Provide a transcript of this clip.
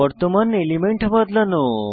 বর্তমান এলিমেন্ট বদলানো